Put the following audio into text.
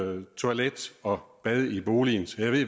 uden toilet og bad i boligen